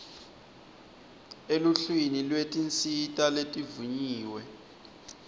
eluhlwini lwetinsita letivunyiwe